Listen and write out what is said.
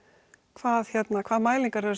hvað hvað mælingar eru að